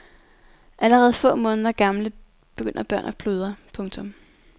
Allerede få måneder gamle begynder børn at pludre. punktum